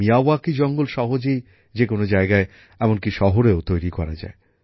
Miyawaki জঙ্গল সহজেই যে কোনো জায়গায় এমনকি শহরেও তৈরী করা যায়